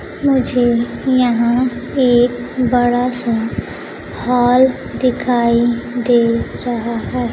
मुझे यहां एक बड़ा सा हॉल दिखाई दे रहा है।